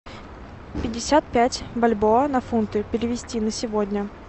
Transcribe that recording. пятьдесят пять бальбоа на фунты перевести на сегодня